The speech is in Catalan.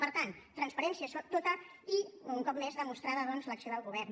per tant transparència tota i un cop més demostrada doncs l’acció del govern